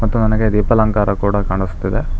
ಮತ್ತು ನನಗೆ ದೀಪಾಲಂಕಾರ ಕೂಡ ಕಾಣಸ್ತಿದೆ.